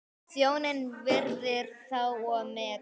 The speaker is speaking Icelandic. Þjóðin virðir þá og metur.